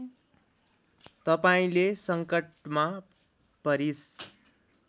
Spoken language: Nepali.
तपाईँंले सङ्कटमा परिस्